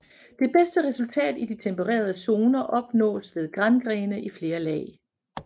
Det bedste resultat i den tempererede zoner opnås med grangrene i flere lag